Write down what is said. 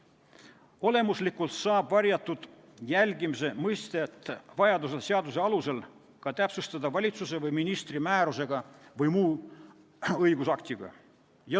Olemuslikult saab varjatud jälgimise mõistet vajaduse korral seaduse alusel täpsustada valitsuse või ministri määrusega või muu õigusaktiga.